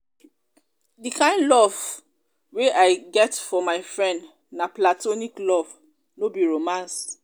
di kain love kain love wey i get for my friend na platonic love no be romance.